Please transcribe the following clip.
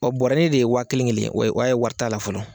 bɔrɛ de ye wa kelen kelen, o ye o y'a ye wari t'a la fɔlɔ.